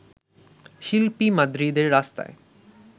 শিল্পী মাদ্রিদের রাস্তায়